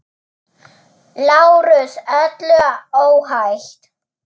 LÁRUS: Öllu óhætt!